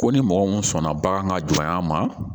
Ko ni mɔgɔ mun sɔnna bagan ka juguman ma